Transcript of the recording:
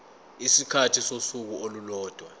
isikhathi sosuku olulodwa